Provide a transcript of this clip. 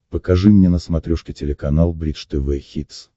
покажи мне на смотрешке телеканал бридж тв хитс